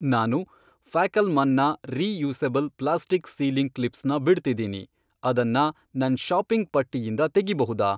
ನಾನು ಫ್ಯಾಕಲ್ಮಾನ್ನ reusable plastic sealing ಕ್ಲಿಪ್ಸ್ನ ಬಿಡ್ತಿದೀನಿ, ಅದನ್ನ ನನ್ ಷಾಪಿಂಗ್ ಪಟ್ಟಿಯಿಂದ ತೆಗಿಬಹುದಾ?